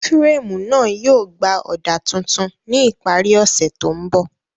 Fírèmù náà yóò gbà ọ̀dà tuntun ní ìparí ọ̀sẹ̀ tó ń bọ̀